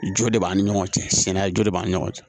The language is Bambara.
Jo de b'an ni ɲɔgɔn cɛ sinɛya jo de b'an ni ɲɔgɔn cɛ